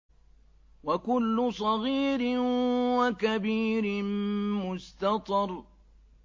وَكُلُّ صَغِيرٍ وَكَبِيرٍ مُّسْتَطَرٌ